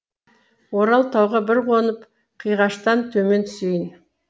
орал тауға бір қонып қиғаштан төмен түсейін